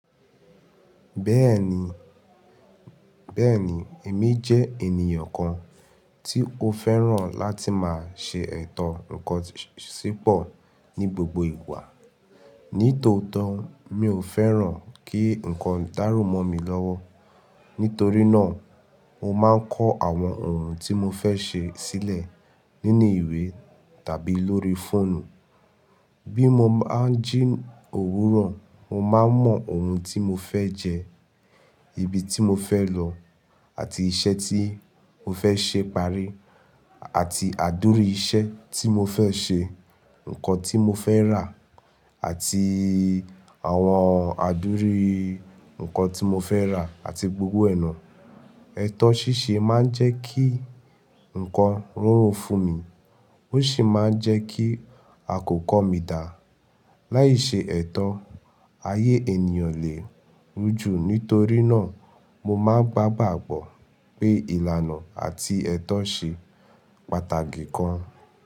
Bẹ́ẹ̀ni, bẹ́ẹ̀ni, èmi jẹ́ ènìyàn kan tí ó fẹ́ràn láti máa ṣe ètò ǹkan sípọ̀ ní gbogbo ìgbà. Ní tòótọ́, mi ò fẹ́ràn kí ǹkan dárò mọ́ mi lọ́wọ́. Nítorí náà, mo máa ń kọ́ àwọn ohun tí mo fẹ́ ṣe sílẹ̀ nínú ìwé tàbí lórí fóònù. Bí mo bá jí òwúrọ̀, mo máa mọ ohun tí mo fẹ́ jẹ, ibi tí mo fẹ́ lọ àti iṣẹ́ tí mo fẹ́ ṣe parí àti àdúrí iṣẹ́ tí mo fẹ́ ṣe, ǹkan tí mo fẹ́ rà àti àwọn àdúrí ǹkan tí mo fẹ́ rà àti gbogbo ẹ̀nà. Ẹ̀tọ́ ṣíṣe máa ń jẹ́ kí ǹkan rọrùn fún mi, ó sì máa ń jẹ́ kí àkókò mi dà. Láì ṣe ẹ̀tọ́, ayé ènìyàn lè rújú. Nítorí náà, mo máa ń gbagbọ pé ìlànà àti ẹ̀tọ́ ṣe pàtàkì kan.